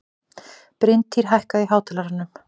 Bryntýr, hækkaðu í hátalaranum.